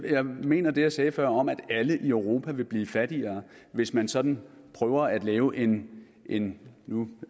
jeg mener det jeg sagde før om at alle i europa vil blive fattigere hvis man sådan prøver at lave en en nu